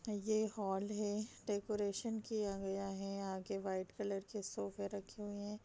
ये हॉल है डेकोरेशन किया गया है आगे वाइट कलर के सोफे रखे हुए है।